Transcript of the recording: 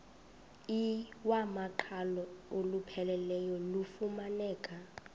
iwamaqhalo olupheleleyo lufumaneka